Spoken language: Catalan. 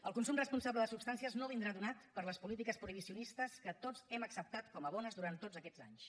el consum responsable de substàncies no vindrà donat per les polítiques prohibicionistes que tots hem acceptat com a bones durant tots aquests anys